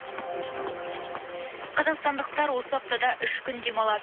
қазақстандықтар осы аптада үш күн демалады